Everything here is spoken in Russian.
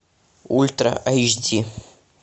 ультра эйч ди